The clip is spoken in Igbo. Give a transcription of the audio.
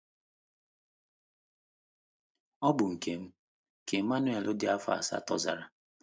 “ Ọ bụ nke m, ” ka Emmanuel dị afọ asatọ zara.